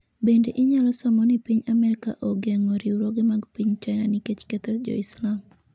Bende inyalo somo ni piny Amerka ogeng'o riwruoge mag piny China nikech ketho Jo-Islam ''